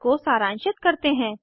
इसको सारांशित करते हैं